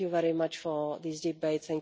Thank you very much for these debates.